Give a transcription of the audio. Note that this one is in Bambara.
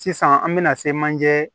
Sisan an bɛna se manje